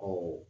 Ɔ